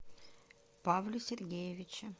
павле сергеевиче